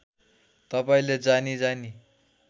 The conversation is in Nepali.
तपाईँले जानी जानी